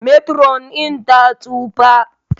Metiron din ta tsufa